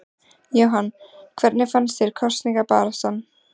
Jóhann: Hvernig fannst þér kosningabaráttan?